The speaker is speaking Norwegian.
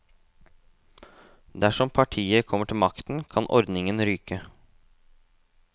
Dersom partiet kommer til makten, kan ordningen ryke.